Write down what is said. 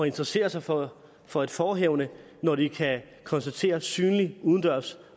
interessere sig for for et forehavende når de kan konstatere synlig udendørs